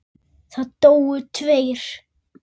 Það dóu tveir.